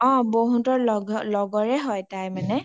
অ বৌ হতৰ লগৰে হয় তাই মানে